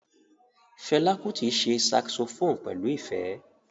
Fela Kuti ṣe saxophone pẹlu ifẹ.